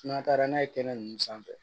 N'an taara n'a ye kɛnɛ ninnu sanfɛ